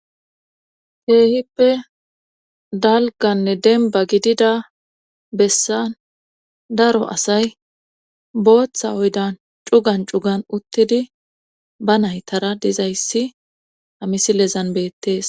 Keehippe dalganne denba gidida bessan daro asay booththa oydan cugan cugan uttidi ba naytara dezayssi amisilezan beettees.